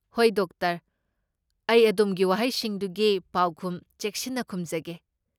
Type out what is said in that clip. ꯍꯣꯏ, ꯗꯣꯛꯇꯔ! ꯑꯩ ꯑꯗꯣꯝꯒꯤ ꯋꯥꯍꯪꯁꯤꯡꯗꯨꯒꯤ ꯄꯥꯎꯈꯨꯝ ꯆꯦꯛꯁꯤꯟꯅ ꯈꯨꯝꯖꯒꯦ꯫